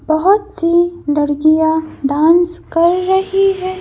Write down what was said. बहुत सी लड़कियाँ डांस कर रही है।